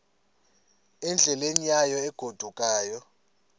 endleleni yayo egodukayo